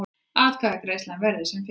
Atkvæðagreiðslan verði sem fyrst